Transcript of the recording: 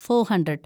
four hundred